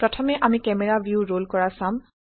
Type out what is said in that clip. প্ৰথমে আমি camera view roll কৰা চাম